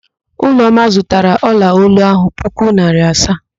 Ụlọma zụtara ọlaolu ahụ puku naịra asaa.